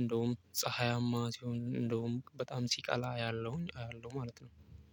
እንደውም ፀሀያማ ሲሆን እንደውም በጣም ሲቃላ ያለውን አያለው ማለት ነው።